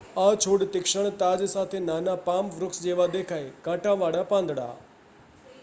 આ છોડ તીક્ષ્ણ તાજ સાથે નાના પામ વૃક્ષ જેવા દેખાય કાંટાવાળા પાંદડા